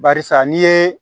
Barisa n'i ye